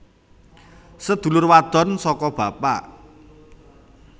Sedulur wadon saka bapak